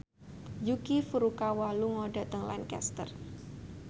Yuki Furukawa lunga dhateng Lancaster